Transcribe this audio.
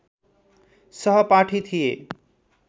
सहपाठी थिए